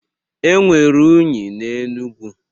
Enwere unyi n'Enugu.